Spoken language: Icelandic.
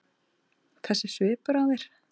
Þessi svipur á þér.